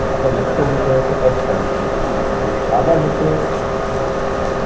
આપડો મુખ્ય વિષય હતો અર્થ શાસ્ત્ર આભાર મિત્રો